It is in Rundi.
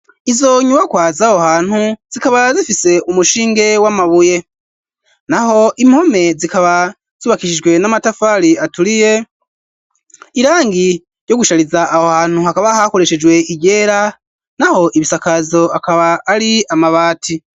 Izo nyubakwa zaho hantu zikaba zifise umushinge w'amabuye naho impome zikaba zibakishijwe n'amatafari aturiye irangi ryo gushariza aho hantu hakaba hakoreshejwe iryera naho ibisakazo akaba ari amabati.